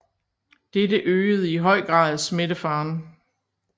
Dette øgede i høj grad smittefaren